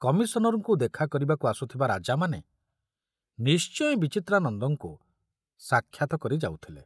କମିଶନରଙ୍କୁ ଦେଖାକରିବାକୁ ଆସୁଥିବା ରାଜାମାନେ ନିଶ୍ଚୟ ବିଚିତ୍ରାନନ୍ଦଙ୍କୁ ସାକ୍ଷାତ କରି ଯାଉଥିଲେ।